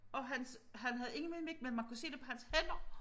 Og hans han havde ingen mimik men man kunne se det på hans hænder